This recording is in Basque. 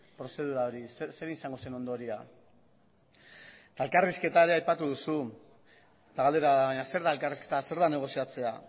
prozedura hori zer izango zen ondorioa eta elkarrizketa ere aipatu duzu eta galdera da baina zer da elkarrizketa zer da negoziatzea